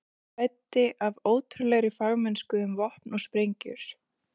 Ragnar ræddi af ótrúlegri fagmennsku um vopn og sprengjur.